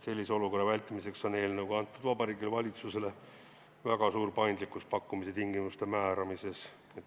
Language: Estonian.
Sellise olukorra vältimiseks on eelnõuga antud Vabariigi Valitsusele väga suur paindlikkus pakkumise tingimuste määramisel.